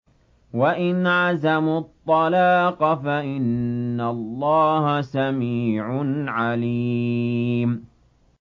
وَإِنْ عَزَمُوا الطَّلَاقَ فَإِنَّ اللَّهَ سَمِيعٌ عَلِيمٌ